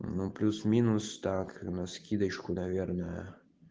ну плюс-минус так на вскидочку наверное